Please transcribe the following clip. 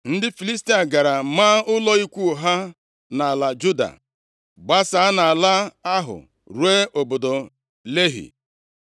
Ndị Filistia gara maa ụlọ ikwu ha nʼala Juda, gbasaa nʼala ahụ ruo obodo Lehi.